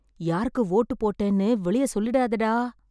யாருக்கு வோட்டு போட்டேன்னு வெளிய சொல்லிடாதேடா